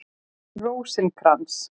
Rósinkrans